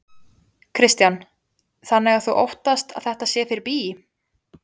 Kristján: Þannig að þú óttast að þetta sé fyrir bí?